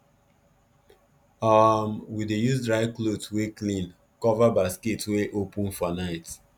um we dey use dry cloth wey clean cover basket wey open for night